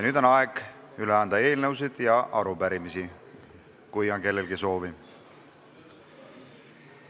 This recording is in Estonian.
Nüüd on aeg üle anda eelnõusid ja arupärimisi, kui kellelgi on soovi.